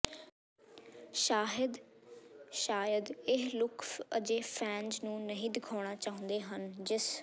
ਸ਼ਾਹਿਦ ਸ਼ਾਇਦ ਇਹ ਲੁੱਕ ਅਜੇ ਫੈਨਜ਼ ਨੂੰ ਨਹੀਂ ਦਿਖਾਉਣਾ ਚਾਹੁੰਦੇ ਹਨ ਜਿਸ